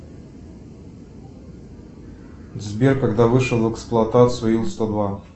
сбер когда вышел в эксплуатацию ил сто два